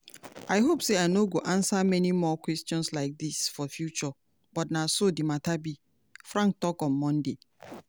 i hope say i no go answer many more questions like dis for future but na so di mata be" frank tok on sunday.